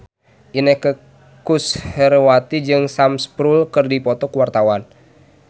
Inneke Koesherawati jeung Sam Spruell keur dipoto ku wartawan